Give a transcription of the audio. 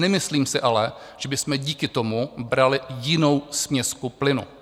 Nemyslím si ale, že bychom díky tomu brali jinou směsku plynu.